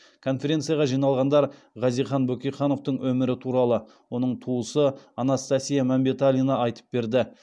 конференцияға жиналғандарға хазихан бөкейхановтың өмірі туралы оның туысы анастасия мәмбеталина айтып берді